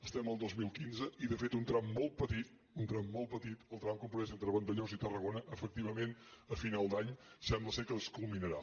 estem al dos mil quinze i de fet un tram molt petit un tram molt petit el tram comprès entre vandellòs i tarragona efectivament a final d’any sembla que es culminarà